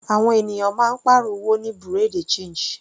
Àwọn ènìyàn máa ń pàrọ̀ owó ní bureau de change.